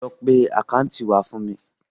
Lọ pe àkáńtáàtì wá fún mi.